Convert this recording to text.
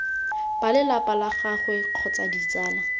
balelapa la gagwe kgotsa ditsala